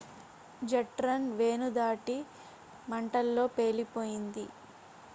jet రన్ వేను దాటి మంటల్లో పేలిపోయింది